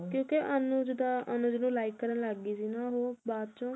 ਕਿਉਂਕਿ ਅਨੁਜ ਦਾ ਅਨੁਜ ਨੂੰ like ਕਰਨ ਲੱਗ ਗਈ ਸੀ ਨਾ ਉਹ ਬਦ੍ਚੋ